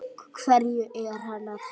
Hverju er hann að heita?